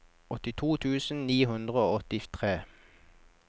åttito tusen ni hundre og åttitre